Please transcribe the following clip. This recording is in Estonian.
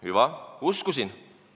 Hüva, uskusin.